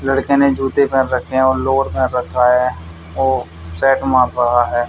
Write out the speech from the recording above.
लड़के ने जूते पहन रखे हैं और पहन रखा है और मार रहा है।